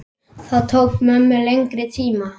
Það tók mömmu lengri tíma.